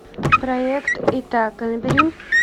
проект итака набери